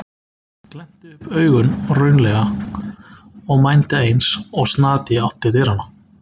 Ég glennti upp augun raunalega og mændi eins og snati í átt til dyranna.